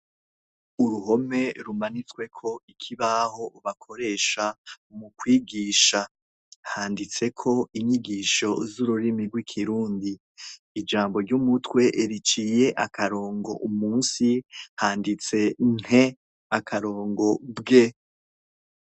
Uruhome rumanitswe ko ikibaho bakoresha mu kwigisha, handitse ko inyigisho zururimi rw'ikirundi, ijambo ry'umutwe riciye akarongo munsi handitse nte akarongo bwe.